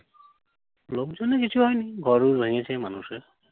লোকজনের কিছু হয় নি। ঘরওর ভেঙেছে মানুষের।